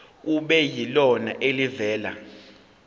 kube yilona elivela